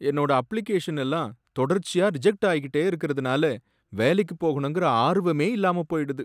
என்னோட அப்ளிகேஷனெல்லாம் தொடர்ச்சியா ரிஜெக்ட் ஆயிகிட்டே இருக்கறதுனால வேலைக்கு போகணுங்கிற ஆர்வமே இல்லாம போயிடுது.